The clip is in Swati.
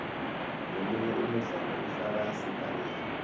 leminye imidlalo ifaka sibhakela